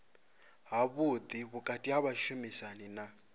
havhuḓi vhukati ha vhashumisani na